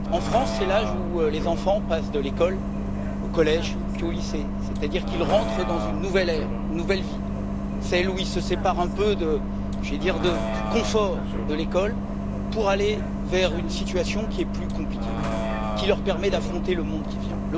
En France, c'est l'âge où les enfants passent de l'école au collège puis au lycée, c'est à dire qu'ils entrent dans une nouvelle ère, une nouvelle vie, celle où ils se séparent un peu j'allais dire, du confort de l'école pour aller vers une situation qui est plus compliquée, qui leur permet d'affronter le monde qui vient.